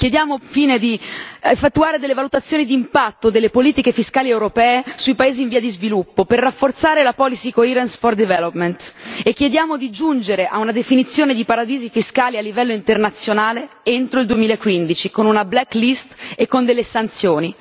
Chiediamo, infine, di effettuare delle valutazioni d'impatto delle politiche fiscali europee sui paesi in via di sviluppo, per rafforzare la policy coherence for development e chiediamo di giungere a una definizione di paradisi fiscali a livello internazionale entro il 2015 con una black list e con delle sanzioni.